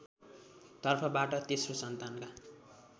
तर्फबाट तेस्रो सन्तानका